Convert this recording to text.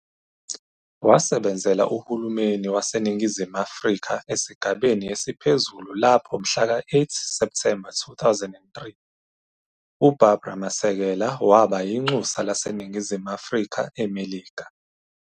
Wasebenzela uhulumeni waseNingizimu Afrika esigabeni esiphezulu lapho mhlaka 8 Septhemba 2003, uBarbara Masekela waba inxusa laseNingizimu Afrika eMelika.